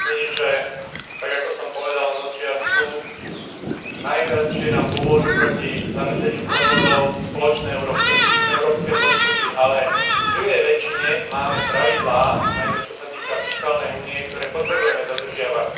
Myslím, že tak ako som povedal na začiatku, najlepšie nám pomôžu proti zamedzeniu podvodov spoločné európske postupy, ale v drvivej väčšine máme pravidlá, najmä čo sa týka fiškálnej únie, ktoré potrebujeme dodržiavať.